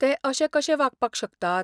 ते अशे कशे वागपाक शकतात?